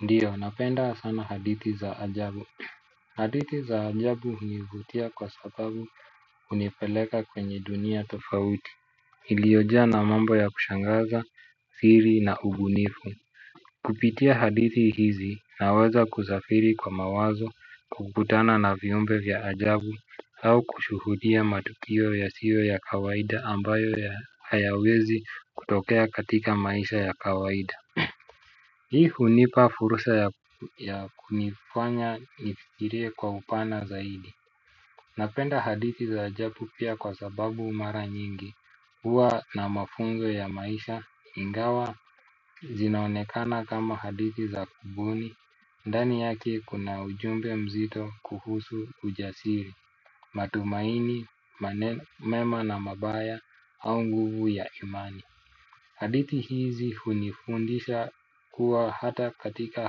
Ndio napenda sana hadithi za ajabu hadithi za ajabu hunivutia kwa sababu hunipeleka kwa dunia tofauti iliyojaa na mambo ya kushangaza, siri na ubunifu. Kupitia hadithi hizi, naweza kusafiri kwa mawazo, kukutana na viumbe vya ajabu, au kushuhudia matukio yasiyo ya kawaida ambayo hayawezi kutokea katika maisha ya kawaida. Hii hunipa fursa ya kunifanya nifkirie kwa upana zaidi. Napenda hadithi za ajabu pia kwa sababu mara nyingi huwa na mafunzo ya maisha ingawa zinaonekana kama hadithi za kubuni. Ndani yake kuna ujumbe mzito kuhusu ujasiri matumaini, mema na mabaya au nguvu ya imani. Hadithi hizi hunifundisha kuwa hata katika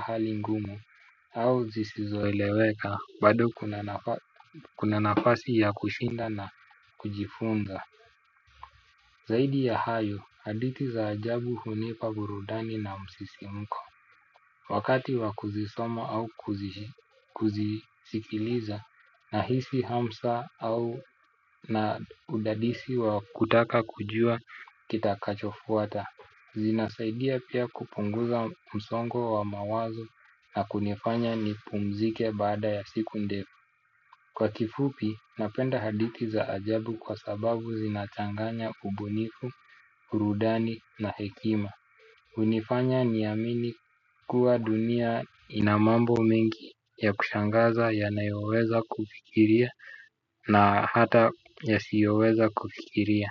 hali ngumu au zisizoeleweka bado kuna nafasi ya kushinda na kujifunza. Zaidi ya hayo hadithi za ajabu hunipa burudani na msisimko. Wakati wa kuzisoma au kuzisikiliza nahisi hamsa au na udadisi wa kutaka kujua kitakachofuata. Zinasaidia pia kupunguza msongo wa mawazo na kunifanya nipumzike baada ya siku ndefu. Kwa kifupi napenda hadithi za ajabu kwa sababu zinachanganya ubunifu, burudani na hekima. Hunifanya niamini kuwa dunia ina mambo mengi ya kushangaza yanayoweza kufikiria na hata yasiyoweza kufikiria.